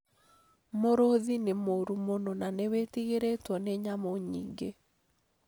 Mũrũthi nĩ mũru mũno na nĩwĩtigĩrĩtwo nĩ nyamũ nyingĩ